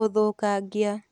ũthũkangia